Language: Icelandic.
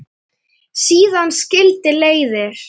Síðan skildi leiðir.